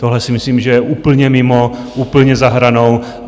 Tohle si myslím, že je úplně mimo, úplně za hranou.